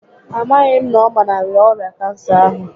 A maghị m na ọ gbanarịrị ọrịa kansa ahụ